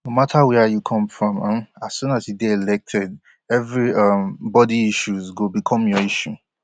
no matter wia you come from um as soon as you dey elected evri um body issues go become your issue